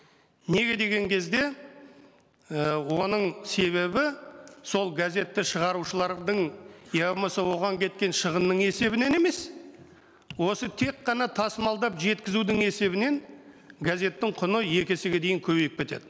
неге деген кезде і оның себебі сол газетті шығарушылардың я болмаса оған кеткен шығынның есебінен емес осы тек қана тасымалдап жеткізудің есебінен газеттің құны екі есеге дейін көбейіп кетеді